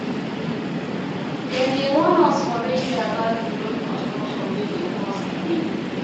Dem dey warn us for radio about di road construction wey dey cause delay.